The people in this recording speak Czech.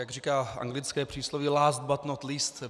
Jak říká anglické přísloví: Last, but not least.